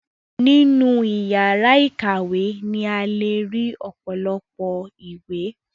Nínú ìyàrá ìkàwé ni a le ri ọ̀pọ̀lọpọ̀ ìwé.